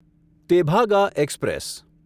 Tebhaga express